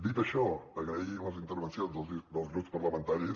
dit això agrair les intervencions dels grups parlamentaris